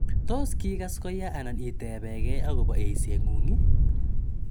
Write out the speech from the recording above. To kiikas koya anan itepe gee akopa eisengung' i